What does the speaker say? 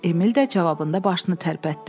Emil də cavabında başını tərpətdi.